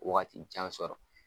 Wagati jan sɔrɔ.